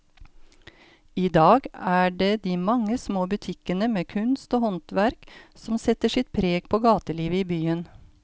I dag er det de mange små butikkene med kunst og håndverk som setter sitt preg på gatelivet i byen.